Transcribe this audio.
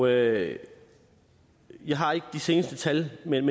jeg jeg har ikke de seneste tal men